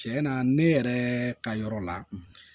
Cɛn na ne yɛrɛ ka yɔrɔ la